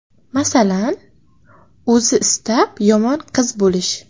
Masalan, o‘zi istab yomon qiz bo‘lish.